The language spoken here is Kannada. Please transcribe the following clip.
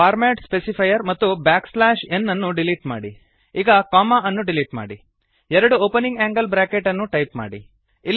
ಫಾರ್ಮ್ಯಾಟ್ ಸ್ಪೆಸಿಫೈರ್ ಮತ್ತು ಬ್ಯಾಕ್ ಸ್ಲ್ಯಾಶ್ ಎನ್ ಅನ್ನು ಡಿಲೀಟ್ ಮಾಡಿ ಈಗ ಕೊಮ್ಮ ಅನ್ನು ಡಿಲೀಟ್ ಮಾಡಿ ಎರಡು ಓಪನಿಂಗ್ ಆಂಗಲ್ ಬ್ರಾಕೆಟ್ ಅನ್ನು ಟೈಪ್ ಮಾಡಿ